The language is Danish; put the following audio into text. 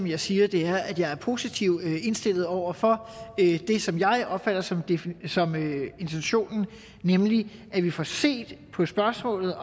jeg siger er at jeg er positivt indstillet over for det som jeg opfatter som intentionen nemlig at vi får set på spørgsmålet